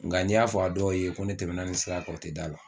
Nga ni y'a f'a dɔw ye ko ne tɛmɛna nin siran kan o tɛ d'a la.